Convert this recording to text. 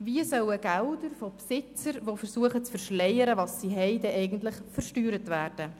Wie sollen Gelder von Besitzern, die ihr Vermögen zu verschleiern versuchen, denn eigentlich versteuert werden?